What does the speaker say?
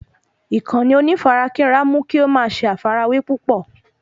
Ìkànnì onífarakínra mú kí o ma ṣe àfàrawẹ́ púpọ̀